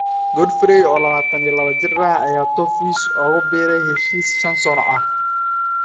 Godfrey, oo 22 jir ah, ayaa Toffees ugu biiray heshiis shan sano ah.